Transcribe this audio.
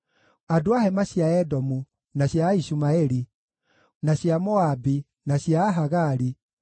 andũ a hema cia Edomu, na cia Aishumaeli, na cia Moabi, na cia Ahagari,